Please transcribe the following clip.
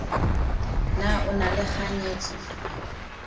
na o na le kganyetso